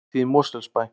Hátíð í Mosfellsbæ